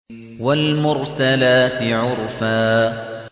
وَالْمُرْسَلَاتِ عُرْفًا